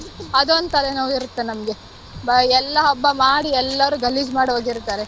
ಅದೊಂದ್ ತಲೆನೋವ್ ಇರುತ್ತೆ ನಮ್ಗೆ ಬ~ ಎಲ್ಲ ಹಬ್ಬ ಮಾಡಿ ಎಲ್ಲರೂ ಗಲೀಜ್ ಮಾಡ್ ಹೋಗಿರ್ತಾರೆ.